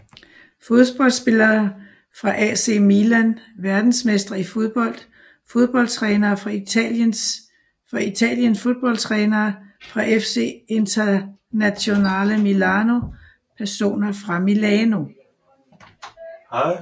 Fodboldspillere fra AC Milan Verdensmestre i fodbold Fodboldtrænere fra Italien Fodboldtrænere fra FC Internazionale Milano Personer fra Milano